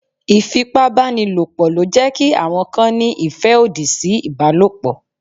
Ìfipá banílòpọ̀ ló jẹ́ kí àwọn kan ní ìfẹ́ òdì sí ìbálòpọ̀.